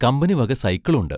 കമ്പനിവക സൈക്കിളുണ്ട്.